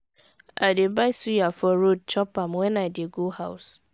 i dey buy suya for road chop am wen i dey go house.